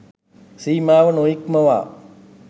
සීමාව නොඉක්මවා